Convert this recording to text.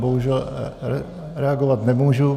Bohužel reagovat nemůžu.